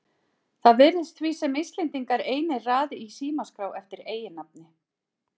Það virðist því sem Íslendingar einir raði í símaskrá eftir eiginnafni.